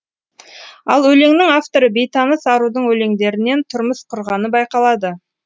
ал өлеңнің авторы бейтаныс арудың өлеңдерінен тұрмыс құрғаны байқалады